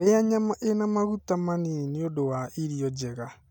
Rĩa nyama ĩna maguta manini nĩ ũndũ wa irio njega.